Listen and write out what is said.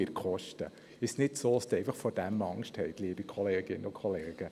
Wir kommen zur Abstimmung über die Motion.